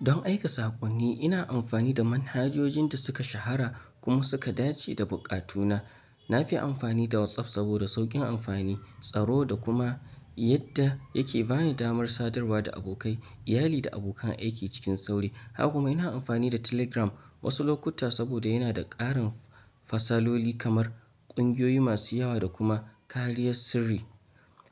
Don aika saƙonni, ina amfani da manhajojin da suka shahara kuma suka dace da buƙatuna. Na fi amfani da WhatsApp saboda sauƙin amfani, tsaro da kuma yadda yake ba ni damar sadarwa da abokai, iyali da abokan aiki cikin sauri. Haka kuma ina amfani da Telegram wasu lokuta saboda yana da ƙarin fasaloli kamar ƙungiyoyi masu yawa da kuma kariyar sirri.